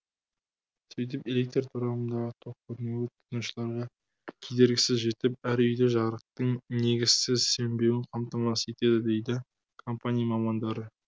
сөйтіп электр торабындағы тоқ кернеуі тұтынушыларға кедергісіз жетіп әр үйде жарықтың негізсіз сөнбеуін қамтамасыз етеді дейді компания мамандары